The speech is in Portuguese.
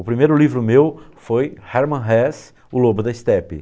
O primeiro livro meu foi Herman Hesse, O Lobo da Estepe.